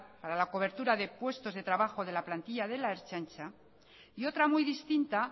para la cobertura de puestos de trabajos de la plantilla de la ertzaintza y otra muy distinta